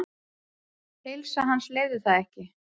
Heilsa hans leyfði það ekki.